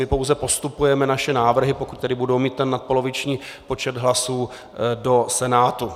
My pouze postupujeme naše návrhy, pokud tedy budou mít ten nadpoloviční počet hlasů, do Senátu.